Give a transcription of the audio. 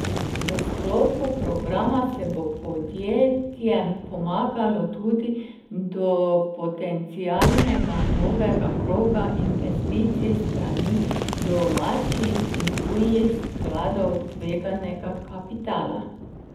V sklopu programa se bo podjetjem pomagalo tudi do potencialnega novega kroga investicij s strani domačih in tujih skladov tveganega kapitala.